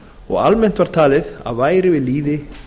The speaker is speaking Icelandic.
og almennt var talið að væri við lýði